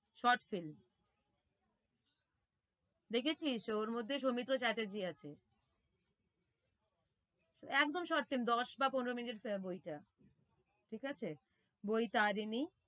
Short film দেখেছিস ওর মধ্যে সৌমিত্র চ্যাটার্জী আছে একদম short film দশ বা পনেরো minute আহ বইটা ঠিক আছে। বৈতারিনী